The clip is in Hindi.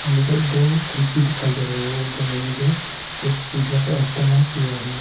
में जो दो खिड़की दिखाई दे रहा है वो दोनों में जो कुछ शीशा का इस्तेमाल किया है।